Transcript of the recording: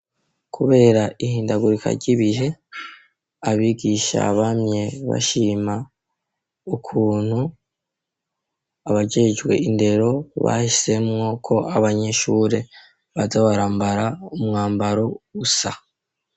Kubera, ihindagurika ry'ibihe, abigisha bamye bashima, ukuntu abajejwe indero, bahisemwo ko, abanyeshure, baza barambara, umwambaro usa.